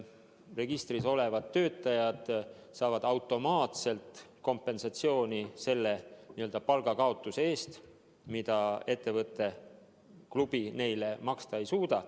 Registris olevad töötajad saavad automaatselt kompensatsiooni selle palga kaotamise eest, mida ettevõte, klubi neile maksta ei suuda.